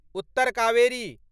Uttar Kaveri